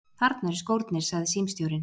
Þarna eru skórnir, sagði símstjórinn.